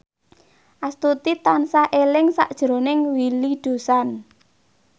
Astuti tansah eling sakjroning Willy Dozan